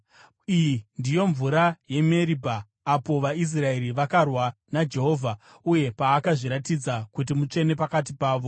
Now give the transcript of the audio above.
Iyi ndiyo mvura yeMeribha, apo vaIsraeri vakarwa naJehovha uye paakazviratidza kuti mutsvene pakati pavo.